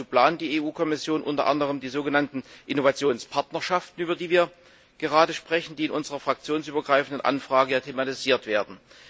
Dazu plant die EU Kommission unter anderem die sogenannten Innovationspartnerschaften, über die wir gerade sprechen und die in unserer fraktionsübergreifenden Anfrage thematisiert werden.